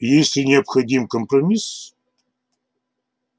если необходим компромисс